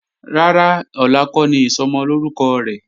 Rárá, ọ̀la kọ́ ni Ìsọmọlórúkọ rẹ̀.